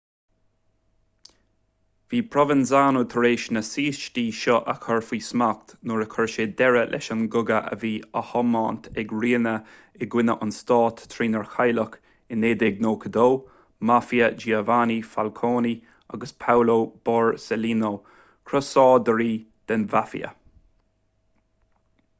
bhí provenzano tar éis na saoistí seo a chur faoi smacht nuair a chuir sé deireadh leis an gcogadh a bhí á thiomáint ag riina i gcoinne an stáit trínar cailleadh i 1992 mafia giovanni falcone agus paolo borsellino crosáidirí den mhaifia